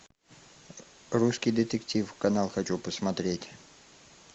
русский детектив канал хочу посмотреть